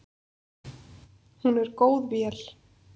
Hún er góð vél.